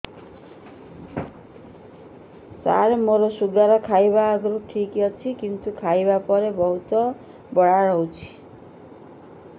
ସାର ମୋର ଶୁଗାର ଖାଇବା ଆଗରୁ ଠିକ ଅଛି କିନ୍ତୁ ଖାଇବା ପରେ ବହୁତ ବଢ଼ା ରହୁଛି